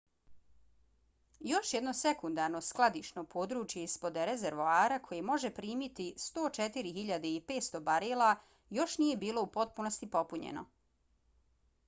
još jedno sekundarno skladišno područje ispod rezervoara koje može primiti 104.500 barela još nije bilo u potpunosti popunjeno